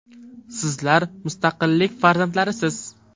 Sizlar mustaqillik farzandlarisiz.